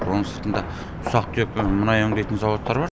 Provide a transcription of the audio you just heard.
оның сыртында ұсақ түйек мұнай өңдейтін зауыттар бар